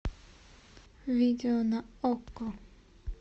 видео на окко